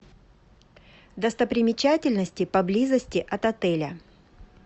достопримечательности поблизости от отеля